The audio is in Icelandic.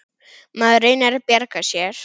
Maður reynir að bjarga sér.